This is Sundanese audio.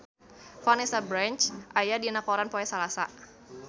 Vanessa Branch aya dina koran poe Salasa